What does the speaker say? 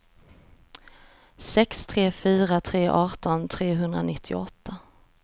sex tre fyra tre arton trehundranittioåtta